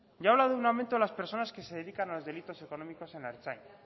yo he hablado de un aumento de las personas que se dedican a los delitos económicos en la ertzaintza